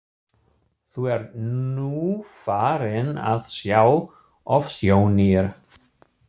Þú ert nú farin að sjá ofsjónir!